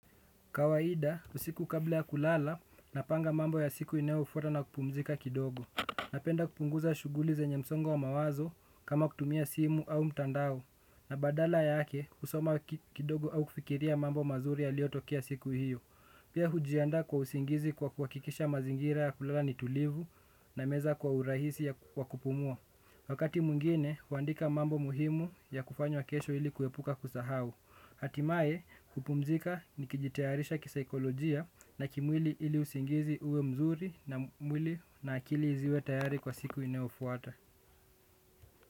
Kawaida, usiku kabla ya kulala napanga mambo ya siku inayofuata na kupumzika kidogo. Napenda kupunguza shughuli zenye msongo wa mawazo kama kutumia simu au mtandao. Na badala yake, husoma kidogo au kufikiria mambo mazuri yaliotokea siku hiyo. Pia hujiandaa kwa usingizi kwa kwa kuhakikisha mazingira ya kulala ni tulivu nameza kwa urahisi ya wa kupumua. Wakati mwingine, huandika mambo muhimu ya kufanywa kesho ili kuepuka kusahau. Hatimaye kupumzika nikijitayarisha kisaikolojia na kimwili ili usingizi uwe mzuri na mwili na akili ziwe tayari kwa siku inayofuata.